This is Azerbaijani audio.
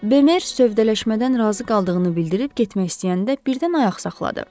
Bemer sövdələşmədən razı qaldığını bildirib getmək istəyəndə birdən ayaq saxladı.